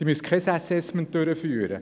Sie müssen kein Assessment durchführen.